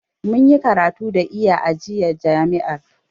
Mun yi karatu da iya a jami'ar.